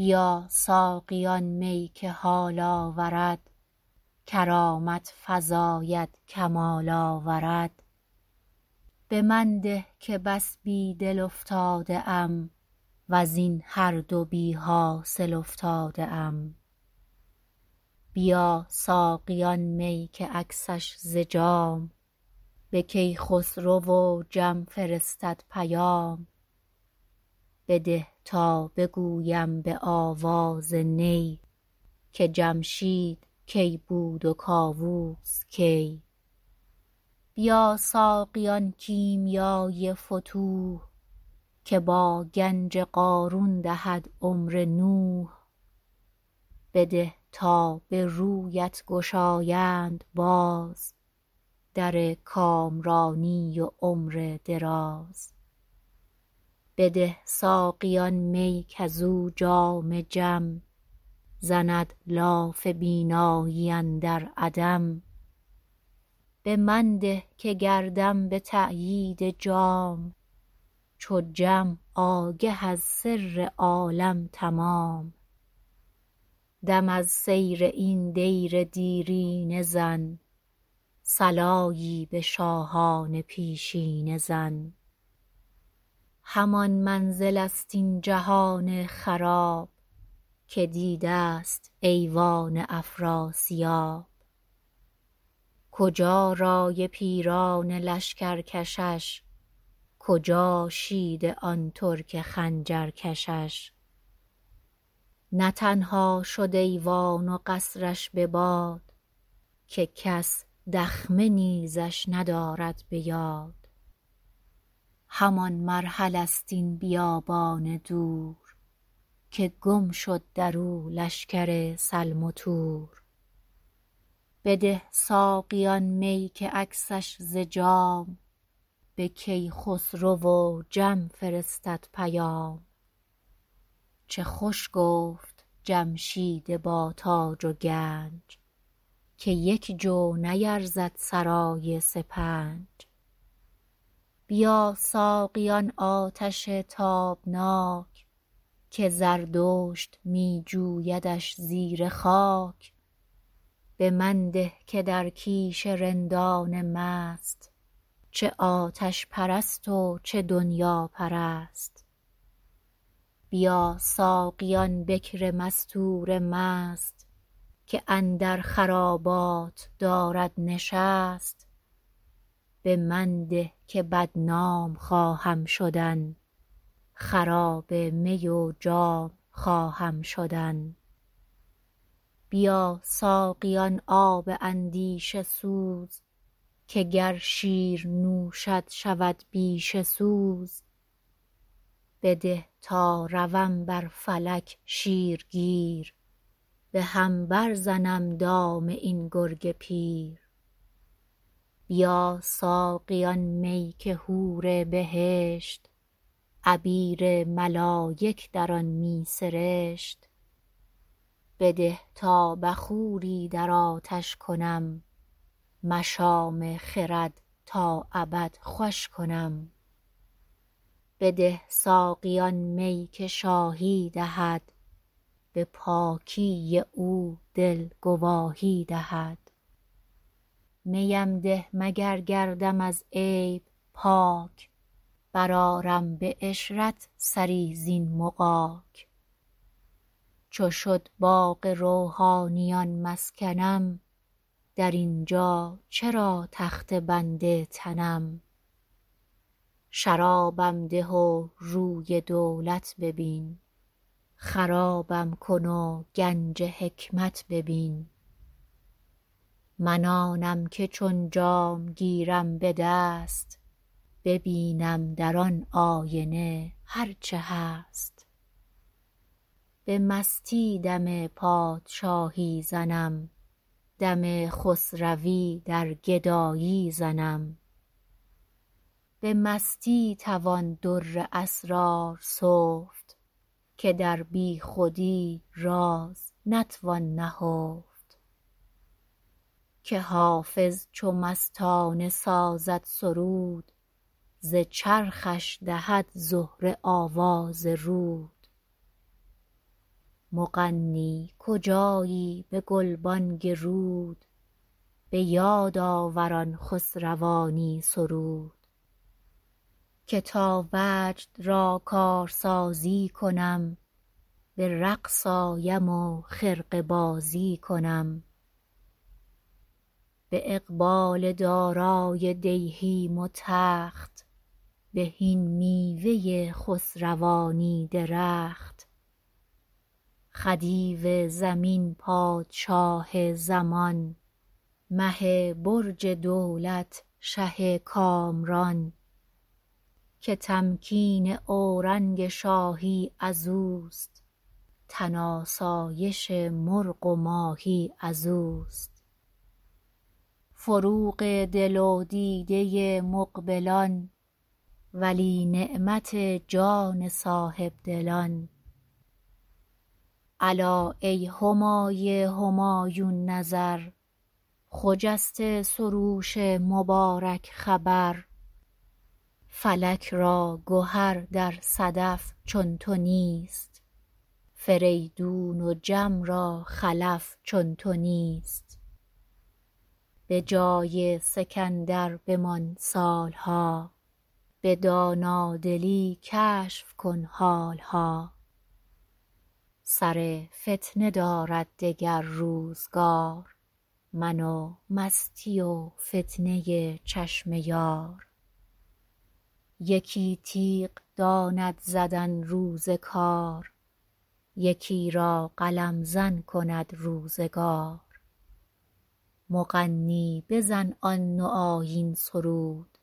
بیا ساقی آن می که حال آورد کرامت فزاید کمال آورد به من ده که بس بی دل افتاده ام وز این هر دو بی حاصل افتاده ام بیا ساقی آن می که عکسش ز جام به کیخسرو و جم فرستد پیام بده تا بگویم به آواز نی که جمشید کی بود و کاووس کی بیا ساقی آن کیمیای فتوح که با گنج قارون دهد عمر نوح بده تا به رویت گشایند باز در کامرانی و عمر دراز بده ساقی آن می کز او جام جم زند لاف بینایی اندر عدم به من ده که گردم به تأیید جام چو جم آگه از سر عالم تمام دم از سیر این دیر دیرینه زن صلایی به شاهان پیشینه زن همان منزل ست این جهان خراب که دیده ست ایوان افراسیاب کجا رأی پیران لشکر کشش کجا شیده آن ترک خنجر کشش نه تنها شد ایوان و قصر ش به باد که کس دخمه نیزش ندارد به یاد همان مرحله ست این بیابان دور که گم شد درو لشکر سلم و تور بده ساقی آن می که عکسش ز جام به کیخسرو و جم فرستد پیام چه خوش گفت جمشید با تاج و گنج که یک جو نیرزد سرای سپنج بیا ساقی آن آتش تابناک که زردشت می جویدش زیر خاک به من ده که در کیش رندان مست چه آتش پرست و چه دنیاپرست بیا ساقی آن بکر مستور مست که اندر خرابات دارد نشست به من ده که بدنام خواهم شدن خراب می و جام خواهم شدن بیا ساقی آن آب اندیشه سوز که گر شیر نوشد شود بیشه سوز بده تا روم بر فلک شیرگیر به هم بر زنم دام این گرگ پیر بیا ساقی آن می که حور بهشت عبیر ملایک در آن می سرشت بده تا بخوری در آتش کنم مشام خرد تا ابد خوش کنم بده ساقی آن می که شاهی دهد به پاکی او دل گواهی دهد می ام ده مگر گردم از عیب پاک برآرم به عشرت سری زین مغاک چو شد باغ روحانیان مسکنم در این جا چرا تخته بند تنم شرابم ده و روی دولت ببین خرابم کن و گنج حکمت ببین من آنم که چون جام گیرم به دست ببینم در آن آینه هر چه هست به مستی دم پادشاهی زنم دم خسروی در گدایی زنم به مستی توان در اسرار سفت که در بی خودی راز نتوان نهفت که حافظ چو مستانه سازد سرود ز چرخش دهد زهره آواز رود مغنی کجایی به گلبانگ رود به یاد آور آن خسروانی سرود که تا وجد را کارسازی کنم به رقص آیم و خرقه بازی کنم به اقبال دارای دیهیم و تخت بهین میوه خسروانی درخت خدیو زمین پادشاه زمان مه برج دولت شه کامران که تمکین اورنگ شاهی ازوست تن آسایش مرغ و ماهی ازوست فروغ دل و دیده مقبلان ولی نعمت جان صاحب دلان الا ای همای همایون نظر خجسته سروش مبارک خبر فلک را گهر در صدف چون تو نیست فریدون و جم را خلف چون تو نیست به جای سکندر بمان سال ها به دانادلی کشف کن حال ها سر فتنه دارد دگر روزگار من و مستی و فتنه چشم یار یکی تیغ داند زدن روز کار یکی را قلم زن کند روزگار مغنی بزن آن نوآیین سرود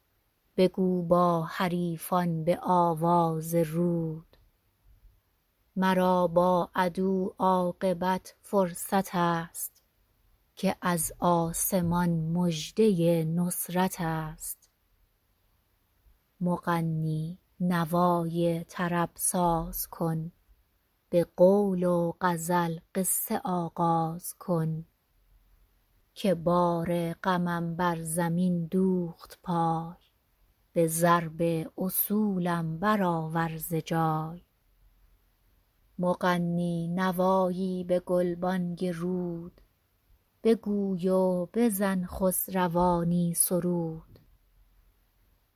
بگو با حریفان به آواز رود مرا بر عدو عاقبت فرصت است که از آسمان مژده نصرت است مغنی نوای طرب ساز کن به قول و غزل قصه آغاز کن که بار غمم بر زمین دوخت پای به ضرب اصولم برآور ز جای مغنی نوایی به گلبانگ رود بگوی و بزن خسروانی سرود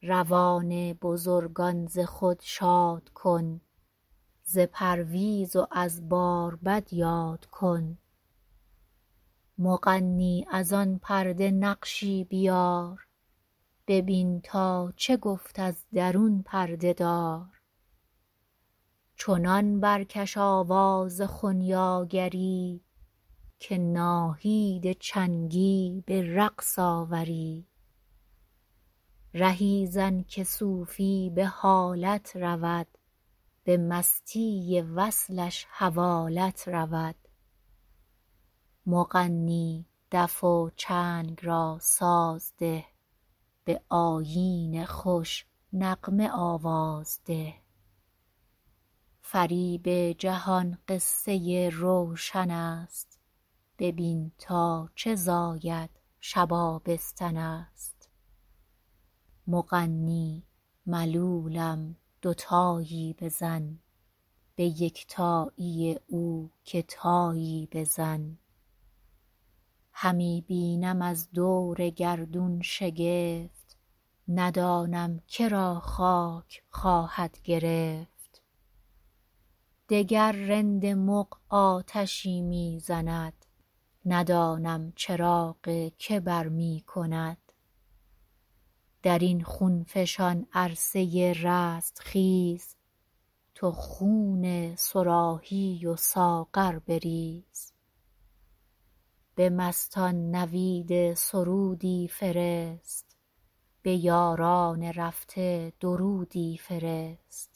روان بزرگان ز خود شاد کن ز پرویز و از باربد یاد کن مغنی از آن پرده نقشی بیار ببین تا چه گفت از درون پرده دار چنان برکش آواز خنیاگری که ناهید چنگی به رقص آوری رهی زن که صوفی به حالت رود به مستی وصلش حوالت رود مغنی دف و چنگ را ساز ده به آیین خوش نغمه آواز ده فریب جهان قصه روشن است ببین تا چه زاید شب آبستن است مغنی ملولم دوتایی بزن به یکتایی او که تایی بزن همی بینم از دور گردون شگفت ندانم که را خاک خواهد گرفت وگر رند مغ آتشی می زند ندانم چراغ که برمی کند در این خون فشان عرصه رستخیز تو خون صراحی و ساغر بریز به مستان نوید سرودی فرست به یاران رفته درودی فرست